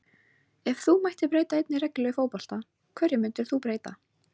Ef þú mættir breyta einni reglu í fótbolta, hverju myndir þú breyta??